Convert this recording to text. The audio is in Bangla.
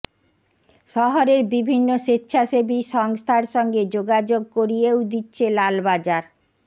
শহরের বিভিন্ন স্বেচ্ছাসেবী সংস্থার সঙ্গে যোগাযোগ করিয়েও দিচ্ছে লালবাজার